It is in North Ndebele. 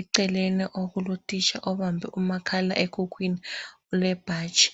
eceleni okulotitsha obambe umakhala ekhukhwini lebhatshi.